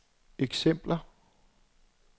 eksempler